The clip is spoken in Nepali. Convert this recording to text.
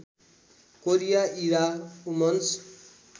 Korea Ewha women's